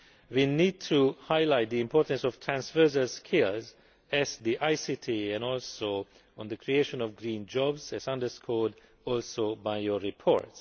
We need to highlight the importance of transfers of skills, as well as ICT and the creation of green jobs as underscored also by your report.